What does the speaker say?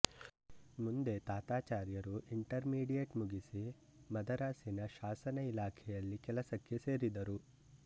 ಮುಂದೆ ತಾತಾಚಾರ್ಯರು intermediate ಮುಗಿಸಿ ಮದರಾಸಿನ ಶಾಸನ ಇಲಾಖೆಯಲ್ಲಿ ಕೆಲಸಕ್ಕೆ ಸೇರಿದರು